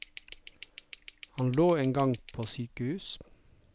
Han lå en gang på sykehus.